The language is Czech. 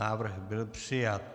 Návrh byl přijat.